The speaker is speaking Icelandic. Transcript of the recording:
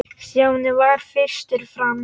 Stjáni varð fyrstur fram.